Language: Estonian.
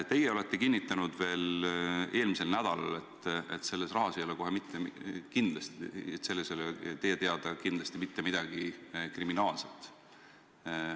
Teie olete kinnitanud veel eelmisel nädalal, et selles rahas ei ole teie teada kohe kindlasti mitte midagi kriminaalset.